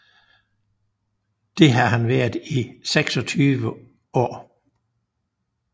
Det har han været i seksogtyve år